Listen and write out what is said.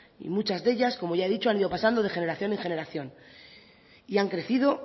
y muchas de ellas como ya he dicho han ido pasando de generaciones en generación y han crecido